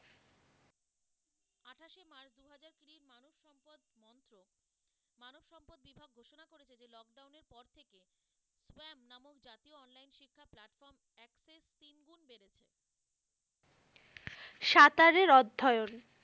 সাঁতারের অধ্যয়ন।